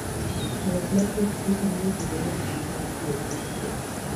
Ng'wech mar pikipiki miyo ji bedo gi chuny mar tiyo kanyachiel.